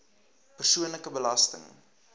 persoonlike belasting